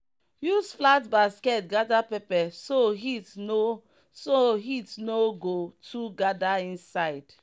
use flat basket gather pepper so heat no so heat no go too gather inside.